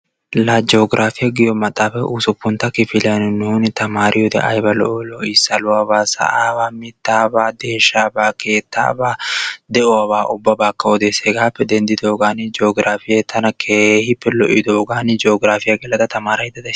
La joograppiya giyo maxaaafa ussuppuntta kifiliyaan nuun tamariyoode aybba lo''o lo'i? saluwaaba, sa'aaba, mittaba, keettaaba, deeshshaba, de'uwaaba ubbabakka odes. hegappe denddidaagan joograppe tana keehippe lo''idoogan jograppiya gelda taamaraydda days.